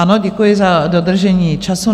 Ano, děkuji za dodržení času.